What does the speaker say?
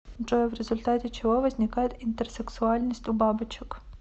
джой в результате чего возникает интерсексуальность у бабочек